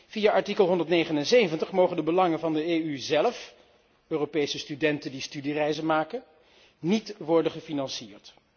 Via artikel 179 mogen de belangen van de EU zelf Europese studenten die studiereizen maken niet worden gefinancierd.